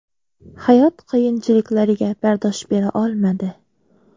Hayot qiyinchiliklariga bardosh bera olmadi.